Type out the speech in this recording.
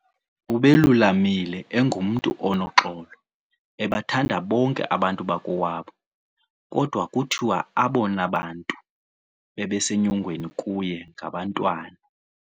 Ubelulamile, engumntu onoxolo ebathanda bonke abantu bakowabo, kodwa kuthiwa abona bantu babesenyongweni kuye ngabantwana.